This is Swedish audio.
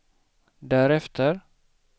därefter